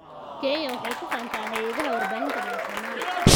Kenya waxay ku faantaa hay�adaha warbaahinta madaxa banaan.